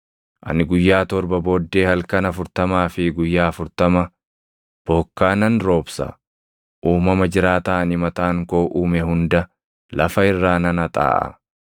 Ani guyyaa torba booddee halkan afurtamaa fi guyyaa afurtama bokkaa nan roobsa; uumama jiraataa ani mataan koo uume hunda lafa irraa nan haxaaʼa.”